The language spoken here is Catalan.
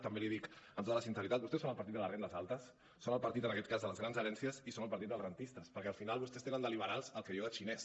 també l’hi dic amb tota la sinceritat vostès són el partit de les rendes altes són el partit en aquest cas de les grans herències i són el partit dels rendistes perquè al final vostès tenen de liberals el que jo de xinès